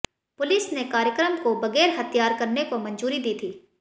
police ने कार्यक्रम को बगैर हथियार करने को मंजूरी दी थी